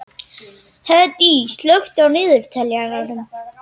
Hedí, slökktu á niðurteljaranum.